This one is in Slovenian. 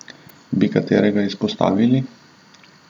Bi katerega izpostavili?